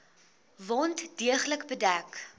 wond deeglik bedek